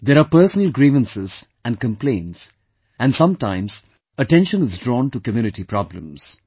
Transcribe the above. There are personal grievances and complaints and sometimes attention is drawn to community problems